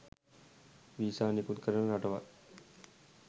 visa නිකුත් කරන රටවල්